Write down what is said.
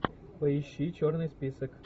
поищи черный список